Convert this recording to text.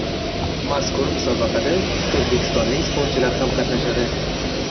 Mazkur musobaqada o‘zbekistonlik sportchilar ham qatnashadi.